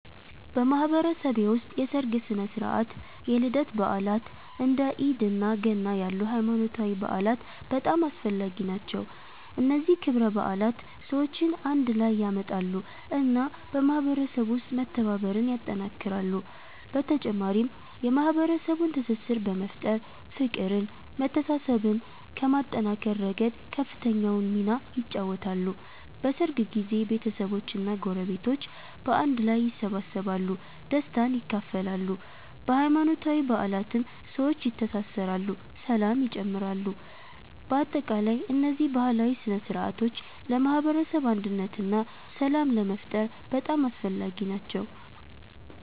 በማህበረሰቤ ውስጥ የሠርግ ሥነ ሥርዓት፣ የልደት በዓላት፣ እንደ ኢድ እና ገና ያሉ ሃይማኖታዊ በዓላት በጣም አስፈላጊ ናቸው። እነዚህ ክብረ በዓላት ሰዎችን አንድ ላይ ያመጣሉ እና በማህበረሰቡ ውስጥ መተባበርን ያጠናክራሉ። በተጨማሪም የማህበረሰቡን ትስስር በመፍጠር፤ ፍቅርን መተሳሰብን ከማጠናከር ረገድ ከፍተኛውን ሚና ይጫወታሉ። በሠርግ ጊዜ ቤተሰቦች እና ጎረቤቶች በአንድ ላይ ይሰበሰባሉ፣ ደስታን ይካፈላሉ። በሃይማኖታዊ በዓላትም ሰዎች ይተሳሰራሉ ሰላም ይጨምራሉ። በአጠቃላይ እነዚህ ባህላዊ ሥነ ሥርዓቶች ለማህበረሰብ አንድነት እና ሰላም ለመፍጠር በጣም አስፈላጊ ናቸው።